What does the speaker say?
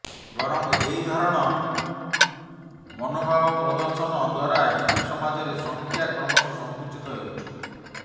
ବରଂ ଏହି ଧରଣ ବି୍େୱଷୀ ମନୋଭାବ ପ୍ରଦର୍ଶନ ଦ୍ୱାରାହିନ୍ଦୁ ସମାଜରେ ସଂଖ୍ୟା କ୍ରମଶଃ ସଂକୁଚିତ ହେଉଛି